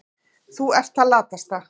Þú ert það latasta.